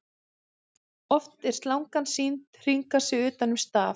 oft er slangan sýnd hringa sig utan um staf